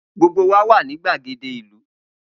Gbogbo wa ni gbagede ilu.